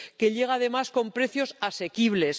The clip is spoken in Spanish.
Que llega, además, con precios asequibles.